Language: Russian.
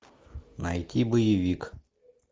найти боевик